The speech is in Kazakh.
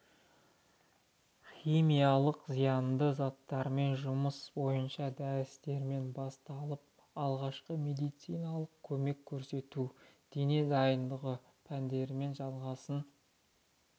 химиялық зиянды заттармен жұмыс бойынша дәрістерімен басталып алғашқы медициналық көмек көрсету дене дайындығы пәндерімен жалғасын